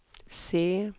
se